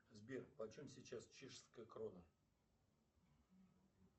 сбер по чем сейчас чешская крона